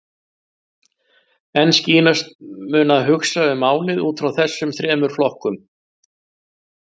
En skýrast mun að hugsa um málið út frá þessum þremur flokkum.